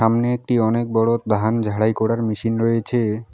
সামনে একটি অনেক বড়ো ধান ঝাড়াই করার মেশিন রয়েছে।